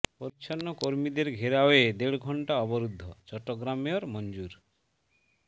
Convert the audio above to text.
পরিচ্ছন্ন কর্মীদের ঘেরাওয়ে দেড় ঘণ্টা অবরূদ্ধ চট্টগ্রাম মেয়র মনজুর